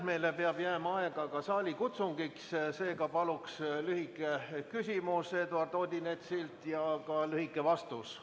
Meile peab jääma aega ka saalikutsungiks, seega paluks lühike küsimus Eduard Odinetsilt ja ka lühike vastus ministrilt.